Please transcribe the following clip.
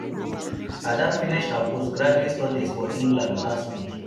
ada finish her post graduate studies for england last week